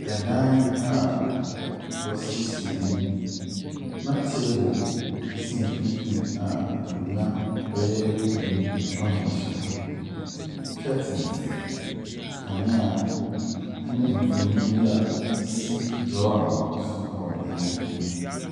Adan a wɔasiesie mu na table si mfimfini a nkonnwa bɛyɛ nnum atwa ho ahyia. Curtains, kanea, ne mfonin bi a ɛsi drawer baako so wɔ dan mu hɔ.